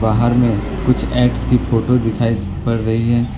बाहर में कुछ एप्स की फोटो दिखाई पड़ रही है।